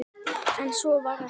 En svo var ekki.